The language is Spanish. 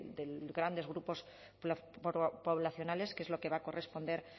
de grandes grupos poblacionales que es lo que va a corresponder